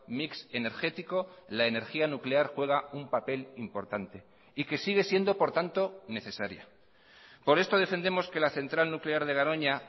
mix energético la energía nuclear juega un papel importante y que sigue siendo por tanto necesaria por esto defendemos que la central nuclear de garoña